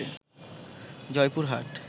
Joypurhat